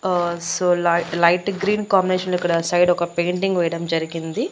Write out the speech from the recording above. అహ్ సో లై light green combination లో ఇక్కడ సైడ్ ఒక పెయింటింగ్ వేయడం జరిగింది.